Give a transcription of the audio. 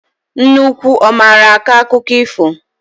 Nne unu ọ mara akọ akụkọ ifo?